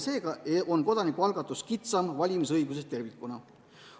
Seega on kodanikualgatus kitsam valimisõigusest tervikuna.